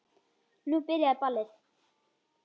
Nú byrjaði ballið.